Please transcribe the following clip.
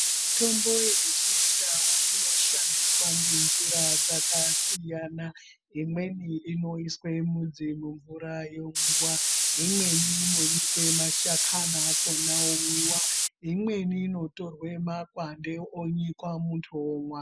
Mitombo yechindau inoshandiswa ngenjira dzakasiyana. Imweni inoiswe mudzi mumvura yomwiwa, imweni inonyikwe mashakani akhona omwiwa, imweni inotorwe makwande onyikwa muntu omwa.